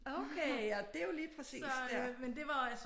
Okay og det jo lige præcis der